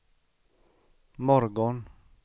morgon